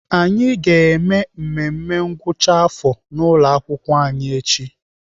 Anyị ga-eme mmemme ngwụcha afọ n'ụlọakwụkwọ anyị echi.